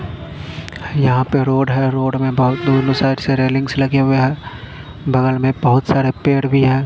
यहाँ पे रोड है रोड मे बहुत दूर रेलिंग्स लगे हुए है बगल मे बहुत सारे पेड़ भी है।